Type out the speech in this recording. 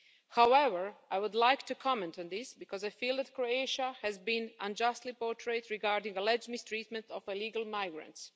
However, I would like to comment on this, because I feel that Croatia has been unjustly portrayed regarding alleged mistreatment of illegal migrants.